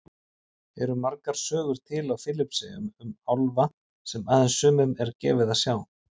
Eru margar sögur til á Filippseyjum um álfa sem aðeins sumum er gefið að sjá?